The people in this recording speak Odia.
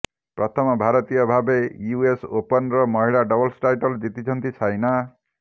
ପ୍ରଥମ ଭାରତୀୟ ଭାବେ ୟୁଏସ୍ ଓପନର ମହିଳା ଡବଲ୍ସ ଟାଇଟଲ୍ ଜିତିଛନ୍ତି ସାଇନା